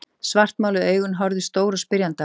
Svartmáluð augun horfðu stór og spyrjandi á mig.